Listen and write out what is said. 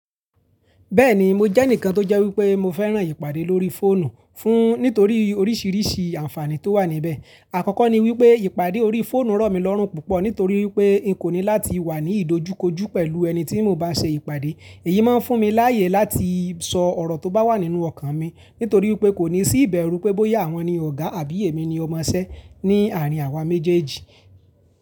Bẹ́ẹ̀ni mo jẹ́ ẹnìkan tó jẹ́ wípé mo fẹ́ràn ìpàdé lórí fóònù fún nítorí oríṣìíríṣìí àǹfààní tó wà níbẹ̀. Àkọ́kọ́ ni wípé ìpàdé orí fóònù rọ̀ mí lọ́rùn púpọ̀ nítorí wípé n kò ní láti wà ní ìdojúkojú pẹ̀lú ẹni tí mo bá ṣe ìpàdé. Èyí má ń fún mi láàyè láti sọ ọ̀rọ̀ tó bá wà nínú ọkàn mi nítorí wípé kò ní sí ìbẹ̀rù pé bóyá àwọn ni ọ̀gá àbí èmi ni ọmọṣẹ́ ní àárín àwa méjèèjì.